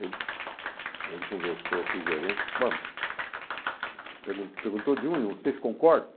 Aí ele conversou com o gerente, pergun perguntou de um em um, vocês concordam?